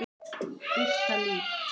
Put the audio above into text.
Birta Líf.